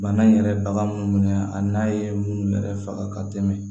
Bana in yɛrɛ bagan munnu minɛ a n'a ye munnu yɛrɛ faga ka tɛmɛ